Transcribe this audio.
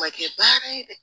Ma kɛ baara ye dɛ